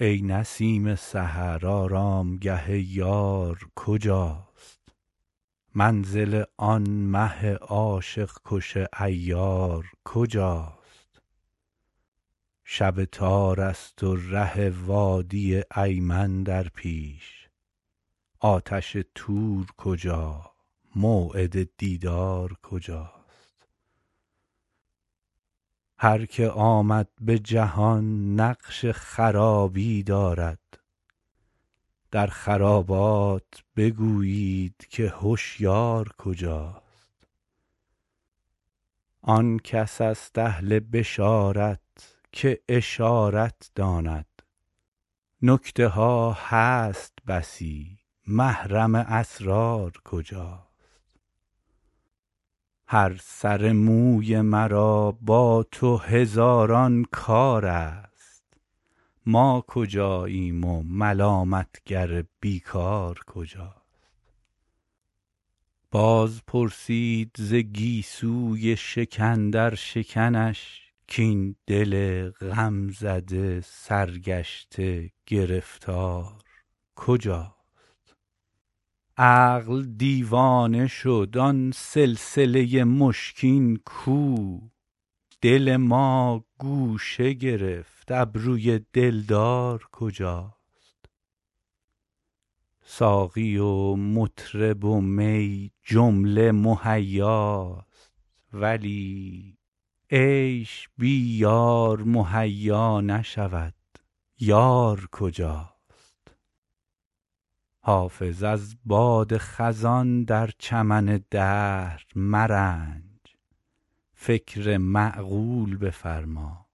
ای نسیم سحر آرامگه یار کجاست منزل آن مه عاشق کش عیار کجاست شب تار است و ره وادی ایمن در پیش آتش طور کجا موعد دیدار کجاست هر که آمد به جهان نقش خرابی دارد در خرابات بگویید که هشیار کجاست آن کس است اهل بشارت که اشارت داند نکته ها هست بسی محرم اسرار کجاست هر سر موی مرا با تو هزاران کار است ما کجاییم و ملامت گر بی کار کجاست باز پرسید ز گیسوی شکن در شکنش کاین دل غم زده سرگشته گرفتار کجاست عقل دیوانه شد آن سلسله مشکین کو دل ز ما گوشه گرفت ابروی دلدار کجاست ساقی و مطرب و می جمله مهیاست ولی عیش بی یار مهیا نشود یار کجاست حافظ از باد خزان در چمن دهر مرنج فکر معقول بفرما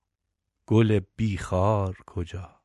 گل بی خار کجاست